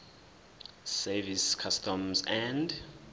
service customs and